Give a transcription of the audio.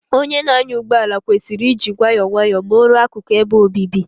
Onye na-anya ụgbọ ala kwesịrị iji nwayọọ nwayọọ Ma o ruo akụku ebe obibi